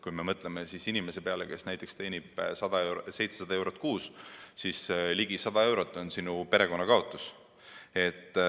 Kui me mõtleme inimese peale, kes teenib 700 eurot kuus, siis tema perekond kaotab ligi 100 eurot.